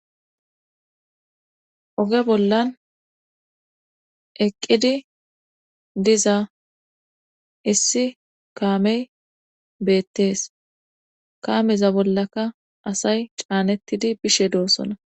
oge bollan eqqidi diza issi kaamey beettees kaameza bollaka asay caanettidi bishe doossona